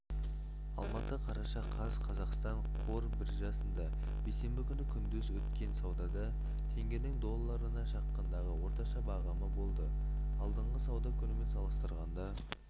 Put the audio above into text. алматы қараша қаз қазақстан қор биржасында бейсенбі күні күндіз өткен саудада теңгенің долларына шаққандағы орташа бағамы болды алдыңғы сауда күнімен салыстырғанда